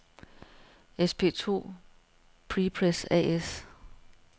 SP2 Prepress A/S